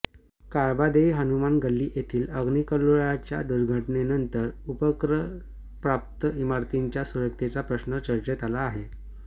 काळबादेवी हनुमान गल्ली येथील अग्निकल्लोळाच्या दुर्घटनेनंतर उपकरप्राप्त इमारतींच्या सुरक्षेचा प्रश्न चर्चेत आला आहे